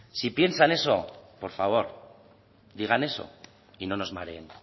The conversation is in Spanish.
si piensan eso por favor digan eso y no nos mareen